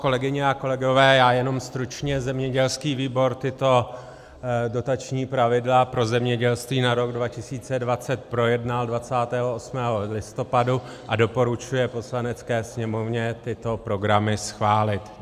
Kolegyně a kolegové, já jenom stručně, zemědělský výbor tato dotační pravidla pro zemědělství na rok 2020 projednal 28. listopadu a doporučuje Poslanecké sněmovně tyto programy schválit.